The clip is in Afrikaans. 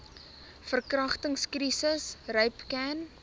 verkragtings krisis rapcan